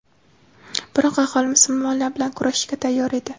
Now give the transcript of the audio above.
Biroq aholi musulmonlar bilan kurashishga tayyor edi.